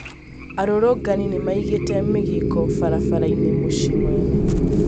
arorongani nĩmaigĩte mĩgĩko farafara-ini mũcĩĩ mũnene